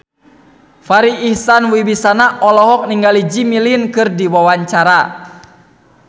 Farri Icksan Wibisana olohok ningali Jimmy Lin keur diwawancara